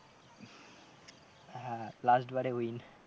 হ্যাঁ last বারে win